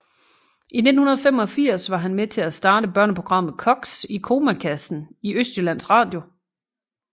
I 1985 var han med til at starte børneprogrammet Koks i komakassen i Østjyllands Radio